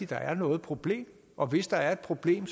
der er noget problem og hvis der er et problem